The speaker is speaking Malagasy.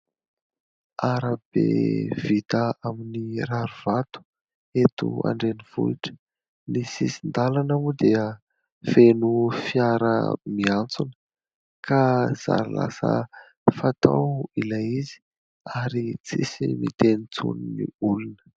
Arabe vita aminy rarivato eto an-drenivohitra. Ny sisin-dalana moa dia feno fiara miantsona ka zary lasa fatao ilay izy ary tsisy miteny intsony ny olona.